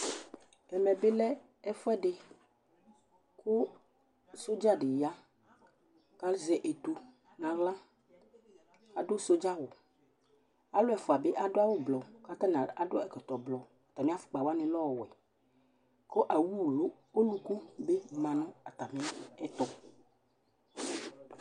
Ɛmɛ bɩ lɛ ɛfʋɛdɩ kʋ sɔdza dɩ ya kʋ azɛ etu nʋ aɣla Adʋ sɔdza awʋ Alʋ ɛfʋa bɩ adʋ awʋblu kʋ atanɩ adʋ ɛkɔtɔblɔ, atamɩ afʋkpa wanɩ lɛ ɔwɛ kʋ awʋwu ɔlʋku bɩ ma nʋ atamɩɛtʋ